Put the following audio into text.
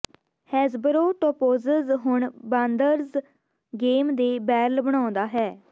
Hasbro ਟੌਪੌਜ਼ਜ਼ ਹੁਣ ਬਾਂਦਰਜ਼ ਗੇਮ ਦੇ ਬੈਰਲ ਬਣਾਉਂਦਾ ਹੈ